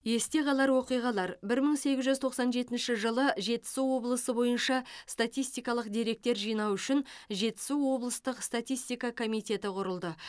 есте қалар оқиғалар бір мың сегіз жүз тоқсан жетінші жылы жетісу облысы бойынша статистикалық деректер жинау үшін жетісу облыстық статистика комитеті құрылды